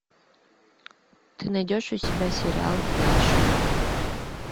ты найдешь у себя сериал флэш